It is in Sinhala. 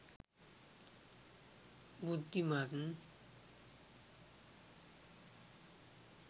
බුද්ධිමත්